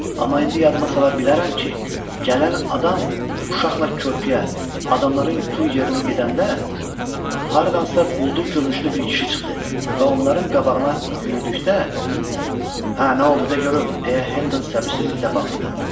Amma indi yadıma salıram ki, gələn adam uşaqla körpüyə, adamların gül yerinə gedəndə, hardansa quldur görünüşlü bir kişi çıxdı və onların qabağına yüyürdükdə, hə, nə oldu de görüm, - deyə Hendon səbirsizlliklə bağırdı.